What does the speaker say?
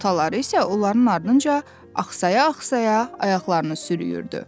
Ataları isə onların ardınca axsaya-axsaya ayaqlarını sürüyürdü.